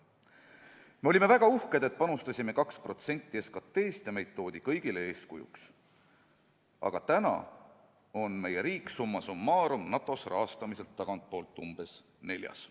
" Veel ütles ta, et me olime väga uhked, et panustasime 2% SKT-st ja meid toodi NATO-s kõigile eeskujuks, aga praegu on meie riik summa summarum NATO-s rahastamiselt tagantpoolt umbes neljas.